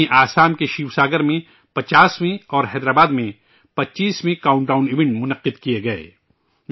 وہیں، آسام کے شیوساگر میں 50 ویں اور حیدرآباد میں 25 ویں کاونٹ ڈاون ایونٹ منعقد کئے گئے